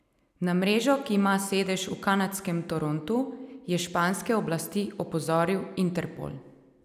Na mrežo, ki ima sedež v kanadskem Torontu, je španske oblasti opozoril Interpol.